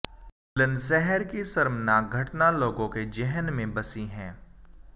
बुलंदशहर की शर्मनाक घटना लोगों के जेहन में बसी है